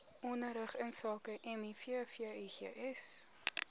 onderrig insake mivvigs